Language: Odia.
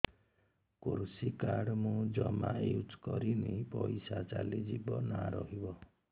କୃଷି କାର୍ଡ ମୁଁ ଜମା ୟୁଜ଼ କରିନି ପଇସା ଚାଲିଯିବ ନା ରହିବ